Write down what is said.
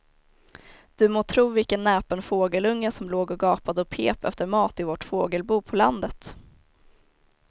Du må tro vilken näpen fågelunge som låg och gapade och pep efter mat i vårt fågelbo på landet.